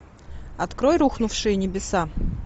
открой рухнувшие небеса